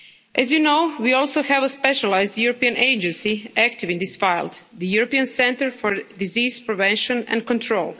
As you know, we also have a specialised European Agency active in this field the European Centre for Disease Prevention and Control.